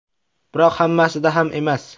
Biroq hammasida ham emas.